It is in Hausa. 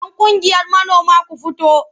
Yan ƙungiyar manoma ku fito!